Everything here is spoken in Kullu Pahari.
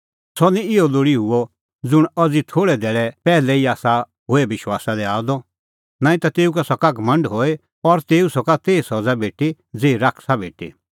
सह निं इहअ लोल़ी हुअ ज़ुंण अज़ी थोल़ै धैल़ै पैहलै ई आसा होए विश्वासा दी आअ द नांईं ता तेऊ सका घमंड हई और तेऊ सका तेही सज़ा भेटी ज़ेही शैताना भेटी